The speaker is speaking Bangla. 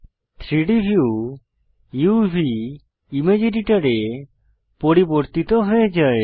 3ডি ভিউ উভ ইমেজ এডিটর এ পরিবর্তিত হয়ে যায়